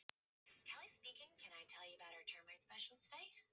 Þeir kölluðu aftur og nú svaraði ég.